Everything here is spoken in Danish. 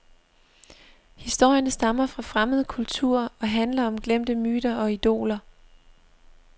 Historierne stammer fra fremmede kulturer og handler om glemte myter og idoler.